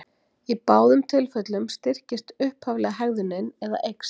Í báðum tilfellum styrkist upphaflega hegðunin eða eykst.